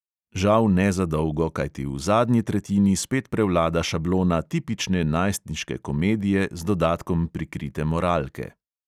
Žal ne za dolgo, kajti v zadnji tretjini spet prevlada šablona tipične najstniške komedije z dodatkom prikrite moralke.